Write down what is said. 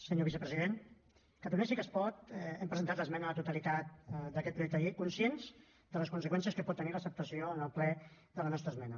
senyor vicepresident catalunya sí que es pot hem presentat l’esmena a la totalitat d’aquest projecte de llei conscients de les conseqüències que pot tenir l’acceptació en el ple de la nostra esmena